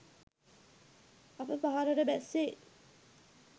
අප පහළට බැස්සේ